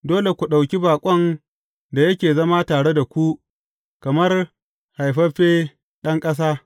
Dole ku ɗauki baƙon da yake zama tare da ku kamar haifaffe ɗan ƙasa.